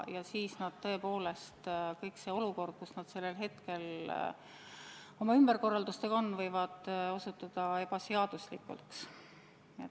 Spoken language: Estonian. Ja siis tõepoolest see olukord, kuhu nad sellel hetkel oma ümberkorraldustega on jõudnud, võib osutuda ebaseaduslikuks.